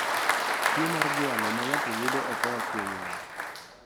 Tuo mar jwalo ma ng'ato oyudo okoa kuom wat